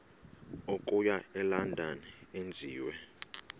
okuya elondon enziwe